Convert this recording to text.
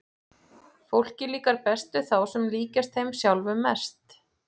Fólki líkar best við þá sem líkjast þeim sjálfum mest.